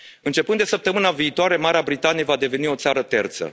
Începând de săptămâna viitoare, Marea Britanie va deveni o țară terță.